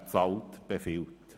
wer zahlt, befiehlt».